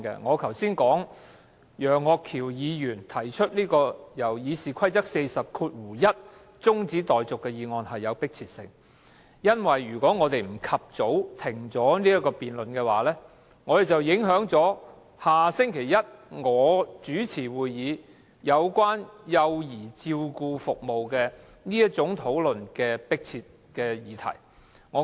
我剛才說楊岳橋議員根據《議事規則》第401條提出的中止待續議案有迫切性，因為如果我們不及早中止修改《議事規則》議案的辯論，便會影響下周一由我主持，討論有關幼兒照顧服務這項迫切議題的會議。